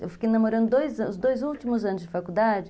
Eu fiquei namorando os dois últimos anos de faculdade.